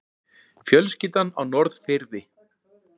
Fjölskyldan á Norðfirði.